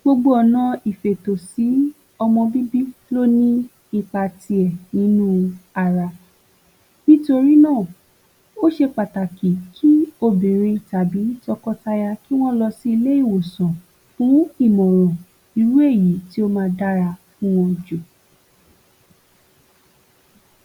Gbogbo ọ̀nà sí Ìfètòsọmọ bíbí ló ní ipa ti ẹ̀ nínú ara nítorí náà, ó ṣe pàtàkì kí obìnrin tàbí tọkọ taya kí wọ́n lọ sí ilé-ìwòsàn fún ìmọ̀ràn irú èyí tí ó ma dára fún wọn jù.